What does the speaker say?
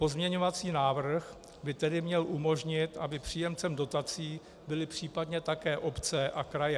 Pozměňovací návrh by tedy měl umožnit, aby příjemcem dotací byly případně také obce a kraje.